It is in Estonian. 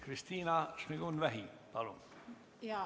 Kristina Šmigun-Vähi, palun!